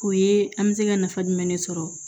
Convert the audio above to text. O ye an bɛ se ka nafa jumɛn de sɔrɔ